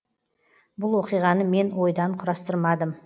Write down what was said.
бұл оқиғаны мен ойдан құрастырмадым